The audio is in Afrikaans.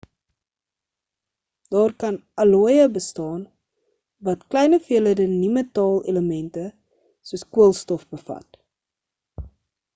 daar kan ook allooïe bestaan wat klein hoeveelhede nie-metaal elemente soos koolstof bevat